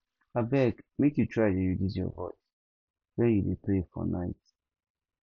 abeg make you try reduce your voice wen you dey pray for night